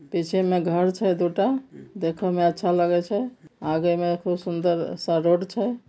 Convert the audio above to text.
पीछे मे घर छे दू टा देखे मे अच्छा लागे छेआगे मे खूब सुंदर रोड छे।